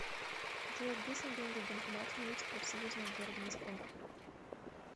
джой где снять деньги в банкомате на улице профсоюзная в городе москва